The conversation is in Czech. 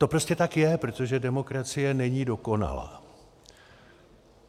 To prostě tak je, protože demokracie není dokonalá.